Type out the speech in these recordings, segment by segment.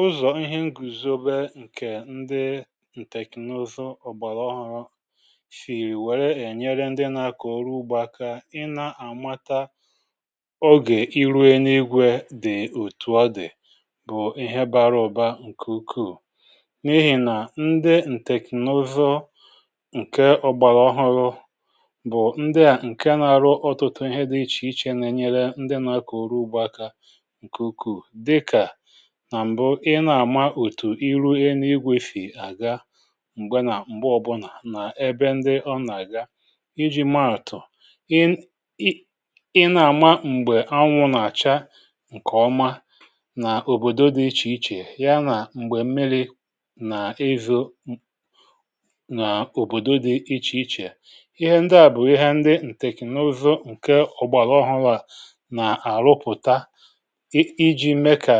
Ụzọ̀ ihe ǹgùzòbè ǹkè ndị ǹtèkònozu ọ̀gbàlà ọrụ shì wèrè ènyere ndị nà-àkọ̀ urù ugbȧ, kà ị nà-àmata ogè ịrụọ n’egwù̇ dị̀. Òtù à dị̀ bụ̀ ihe bara ụ̀ba ǹkè ukwuù, n’ihì nà ndị ǹtèkònozu ǹkè ọ̀gbàlà ọrụ bụ̀ ndị à ǹkè na-arụ ọtụtụ ihe dị̇ iche iche, nà-ènyere ndị nà-àkọ̀ ọrụ ugbȯ aka. Nà m̀bụ̀, um ị na-àma òtù ị rụọ n’igwėfì àga, m̀gbe nà m̀gbe ọbụlà, nà ebe ndị ọ nà-àga iji mà òtù ị. Ị na-àma m̀gbè anwụ̇ nà-àcha, ǹkè ọma n’òbòdo dị iche iche, ya nà m̀gbè m̀miri nà ịzụ nà òbòdo dị iche iche. Ihe ndị à bụ̀ ihe ndị ǹtèkònozu ǹkè ọgbàlọhụlà nà-àrụpụ̀tà, iji̇ mekà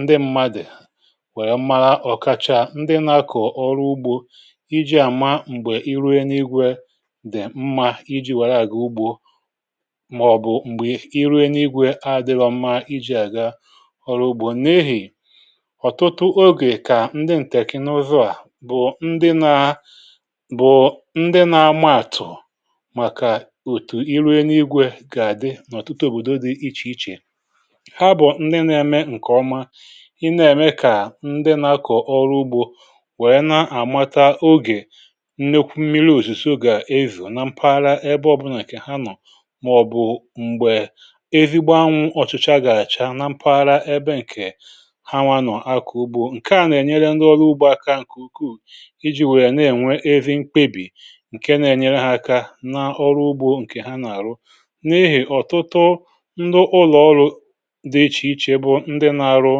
nwèrè mmà ọ̀kàchà ndị na-akọ̀ ọrụ ugbȯ, iji àma m̀gbè ịrue n’igwė dì mma. Iji wàrà gị̇ ugbȯ, màọ̀bụ̀ um m̀gbè ịrue n’igwė adị̇lọ̇ mma iji àga ọ̀lụ̀gbò n’ehì. Ọ̀tụtụ ogè, kà ndị ǹtèkìnàụzọ à bụ̀ ndị nà-ama àtụ̀, màkà òtù ịrue n’igwė gà-adị n’ọ̀tụtụ òbòdo dị̇ iche iche, ị nà-ème kà ndị nà-àkọ̀ ọrụ ugbȯ wèe na-àmata ogè nnekwu mmiri, òsùsù ogè ezì nà mpaghara ebe ọbụlà ǹkè ha nọ̀. Mà ọ̀ bụ̀ m̀gbè ezì gbanwu, ọ̀chụcha gà-àcha, um na mpaghara ebe ǹkè ha nwȧ nọ̀, akọ̀ ugbȯ ǹkè a nà-ènyere ndị ọrụ ugbȯ aka ǹkè ukwuù, iji̇ wèe na-ènwe ezi mkpebì ǹke na-ènyere hȧ aka n’ọrụ ugbȯ ǹkè ha nà-àrụ. N’ihì̇ ọ̀tụtụ ndụ ụlọ̀ọrụ dị iche iche bụ̀ ndị nà-arụ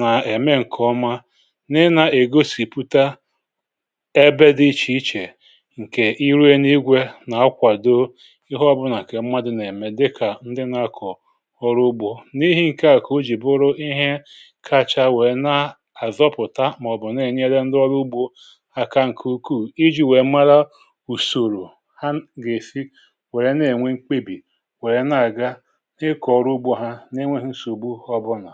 nà-ème ǹkè ọma, nà-ègosipụ̀tà ebe dị iche iche ǹkè irè n’igwė, um nà-akwàdo ihe ọbụlà kà mmadụ̀ nà-ème, dịkà ndị nà-akọ̀ ọrụ ugbȯ. N’ihe ǹkè à, kà o jì bụrụ ihe kacha wèe na-àzọpụ̀tà, màọ̀bụ̀ na-ènyere ndị ọrụ ugbȯ aka ǹkè ukwuù, iji̇ wèe màrà ùsòrò ha gà-èsi wèe na-ènwe mkpebì, wèe na-àga ǹkè ọma.